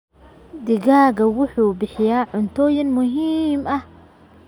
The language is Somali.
Digaaggu wuxuu bixiyaa cunto muhiim ah.